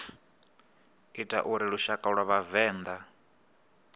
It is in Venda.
ita uri lushaka lwa vhavenḓa